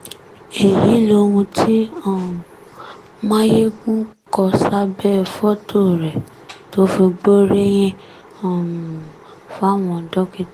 èyí lohun tí um máyẹ́gùn kọ sábẹ́ fọ́tò rẹ̀ tó fi gbóríyìn um fáwọn dókítà